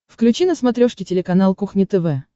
включи на смотрешке телеканал кухня тв